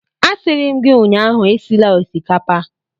A sịrị m gi ụnyaahụ esila osikapa!